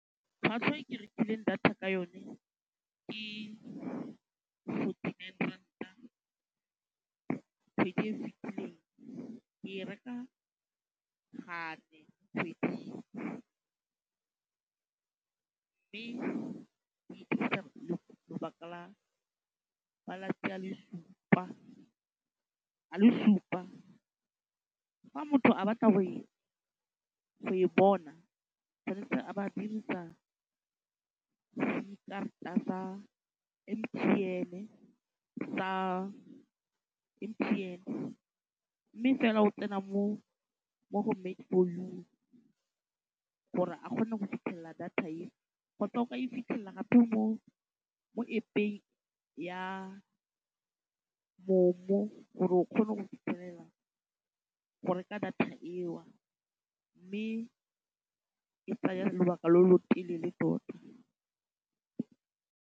Tlhwatlhwa e ke rekileng data ka yone ke forty-nine ranta kgwedi e e fetileng, ke e reka gape kgwedi e mme ke e dirisa lobaka la malatsi a le supa. Fa motho a batla go e bona, o tshwanetse a ba a dirisa dikarata tsa M_T_N, mme fela o tsena mo go Made4You gore a kgone go fitlhelela data e, kgotsa o ka e fitlhelela gape mo App-eng ya MoMo gore o kgone go fitlhelela go reka data eo mme e tsaya lobaka lo lo telele tota.